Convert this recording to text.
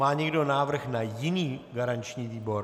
Má někdo návrh na jiný garanční výbor?